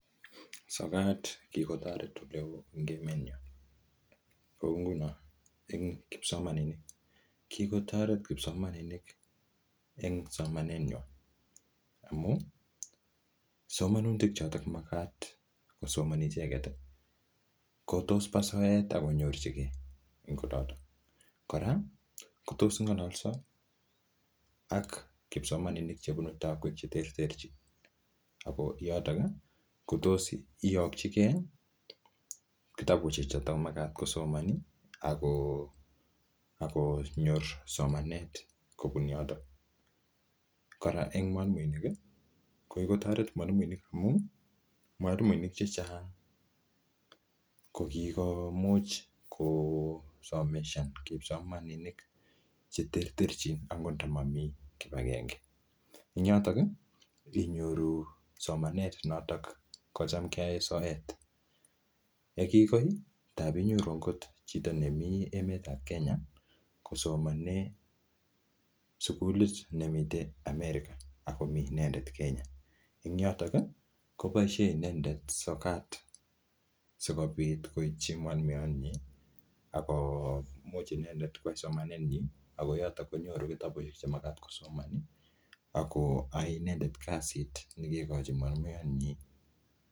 Sokat kikotoret ole oo eng emet nyoo. Kou nguno, eng kipsomaninik. Kikotoret kipsomaninik eng somanet nywaa. Amuu, somanutik chotok magat kosomani icheket, kotos pa soet akonyorchikei eng olotok. Kora, ko tos ngalolso ak kipsomaninik chebunu taakwek che terterchin. Ako yotok, kotos iyokchikei kitabusiek chotok magat kosomani, ako-akonyor somanet kobun yotok. Kora eng mwalimuinik, ko kikotoret mwalimuinik amu, mwalimuinik chechang kokikomuch kosomeshan kipsomaninik che terterchin, angot ndamamii kibagenge. Ing yotok, inyoru somanet notok kocham keae soet. Yeki koi, tapinyoru angot chito nemi emet ap Kenya kosomane sukulit nemite America, akomii inendet Kenya. Ing yotok, koboisie inendet sokat sikobit koitchi mwalimuiyot nyi. Ako much inendet kwai somanet nyii. Ako yotok konyoru kitabusiek che magat kosomani. Ako ae inendet kasit nekikochin mwalimuiyot nyii.